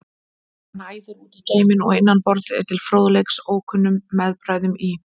Hann æðir út í geiminn og innan borðs er til fróðleiks ókunnum meðbræðrum í